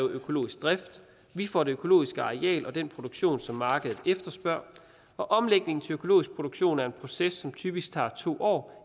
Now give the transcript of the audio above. økologisk drift vi får det økologiske areal og den produktion som markedet efterspørger og omlægning til økologisk produktion er en proces som typisk tager to år